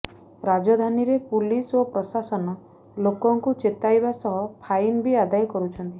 ରାଜଧାନୀରେ ପୁଲିସ ଓ ପ୍ରଶାସନ ଲୋକଙ୍କୁ ଚେତାଇବା ସହ ଫାଇନ୍ ବି ଆଦାୟ କରୁଛନ୍ତି